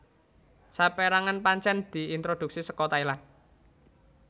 Sapérangan pancèn diintroduksi saka Thailand